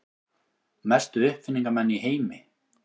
Mestu uppfinningamenn í heimi.